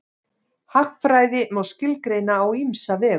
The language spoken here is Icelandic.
Hagfræði má skilgreina á ýmsa vegu.